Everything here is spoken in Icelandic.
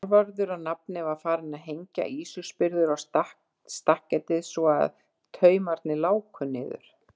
Þorvarður að nafni, var farinn að hengja ýsuspyrður á stakketið svo að taumarnir láku niður.